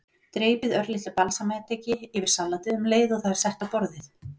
Dreypið örlitlu balsamediki yfir salatið um leið og það er sett á borðið.